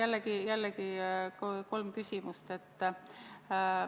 Seega jällegi kolm küsimust.